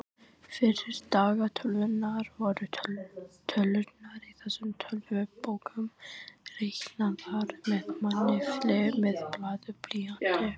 Fyrir daga tölvunnar voru tölurnar í þessum töflubókum reiknaðar með mannafli með blaði og blýanti.